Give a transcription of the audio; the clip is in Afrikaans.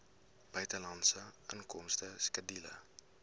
buitelandse inkomste skedule